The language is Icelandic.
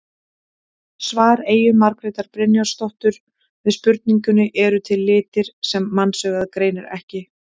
Svar Eyju Margrétar Brynjarsdóttur við spurningunni Eru til litir sem mannsaugað greinir ekki?